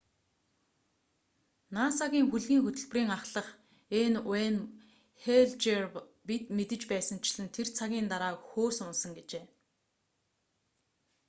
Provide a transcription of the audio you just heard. наса-гийн хөлгийн хөтөлбөрийн ахлах н.уэйн хэйл жр бид мэдэж байсанчлан тэр цагийн дараа хөөс унасан гэжээ